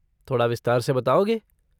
थोड़ा विस्तार से बताओगे?